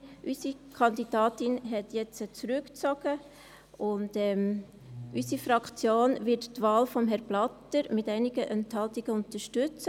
Unsere Kandidatin hat jetzt zurückgezogen, und unsere Fraktion wird die Wahl von Herrn Blatter mit einigen Enthaltungen unterstützen.